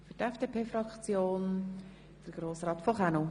Für die FDP-Fraktion spricht Grossrat von Kaenel.